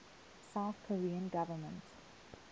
south korean government